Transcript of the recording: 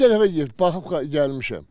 Biz neçə dəfə gəlib baxıb gəlmişəm.